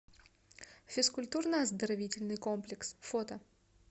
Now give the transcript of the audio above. физкультурно оздоровительный комплекс фото